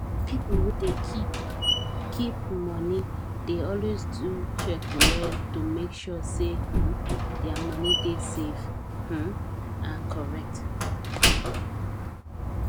people wey dey keep keep money dey always do check well to make sure say um their money dey safe um and correct